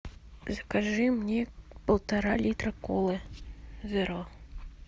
закажи мне полтора литра колы зеро